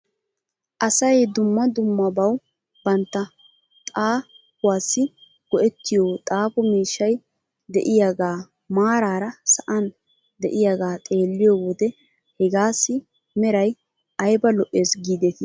Asay dumma dummabaw bantta xaafuwaassi go'ettiyoo xaafo miishshay de'iyaagaa maaraara sa'an de'iyaagaa xeelliyoo wode hegaassi meray ayba lo'es giidetii .